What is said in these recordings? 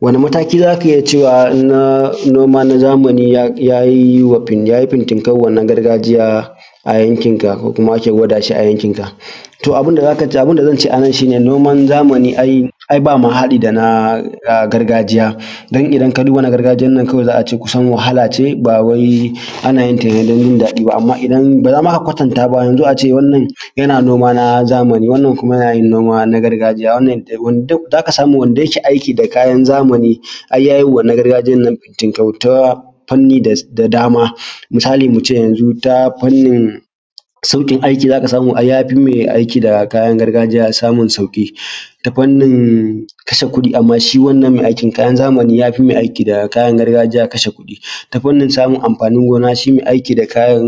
Wani mataki za ka iya cewa noma na zamani ya yi fintinkau wa na gargajiya a yankinka ko kuma ake gwada shi a yankinka? To, abun da zance a nan shi ne noman zamani ai ba ma haɗi da na gargajiya dan idan ka duba na gargajiyan nan kawai za a ce kusan wahala ce ba wai ana yin ta dan jindaɗi ba. Amma idan ba za ma ka kwatanta ba yanzun a ce wannan yana noma na zamani wannan kuma yana noma na gargajiya, wannan dai duk aka samu wanda yake aiki da na zamani ai ya yi wa na gargajiyan nan fintinkau ta fanni da dama: misali mu ce yanzun ta fannin sauƙin aiki za ka samu ai ya fi mai aiki da kayan gargajiya samun sauƙi ta fannin kashe kuɗi, amma shi wannan mai aiki da kayan zamani ya fi mai aiki da kayan gargajiya kashe kuɗi, ta fannin samun amfanin gona shi mai aiki da kayan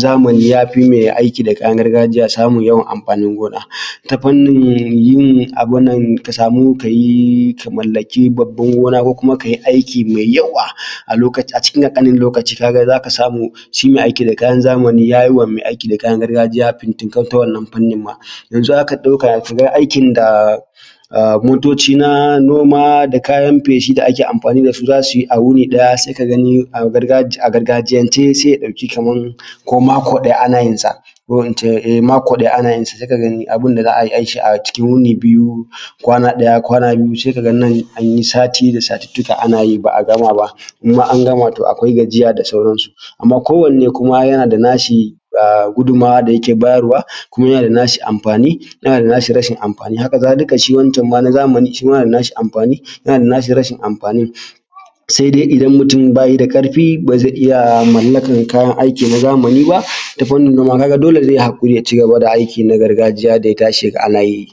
zamani ya fi mai aiki da kayan gargajiya samun yawan amfanin gona, ta fannin yin abun nan ka samu ka yi ka mallaki babban gona ko kuma ka yi aiki mai yawa a lokacin cikin ƙanƙanin lokaci ka ga za ka samu shi mai aiki da kayan zamani ya yi ma mai aiki da kayan gargajiya fintinkau. Ta wannan fannin ma yanzun haka ɗauka shiga aikin da motoci na noma da kayan feshi da ake amfani da su za su yi a wuni ɗaya sai ka gani a gargajiyance sai ya ɗauki kaman ko mako ɗaya ana yin sa sai ka gani abun da za a yi a yi shi a cikin wuni biyu, kwana ɗaya kwana biyu sai ka ga nan an yi sati da satuttuka ana yi ba a gama ba. Idan ma an gama to akwai gajiya da sauransu, amma kowanne kuma yana da nashi gudummawa da yake bayarwa kuma yana da nashi amfani, yana da nashi rashin amfani. Hakazalika shi wancan ma na zamani shi ma yana da nashi amfani yana da nashi rashin amfanin sai dai idan mutum ba yi da ƙarfi ba zai iya mallakar kayan aiki na zamani ba, ta fannin noma ka ga dole zai haƙuri ya cigaba da aiki na gargajiya da ya tashi ya ga ana yi.